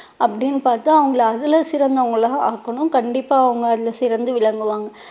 அப்படின்னு பார்த்து அவங்களை அதுல சிறந்தவங்களா ஆக்கணும் கண்டிப்பா அவங்க அதுல சிறந்து விளங்குவாங்க.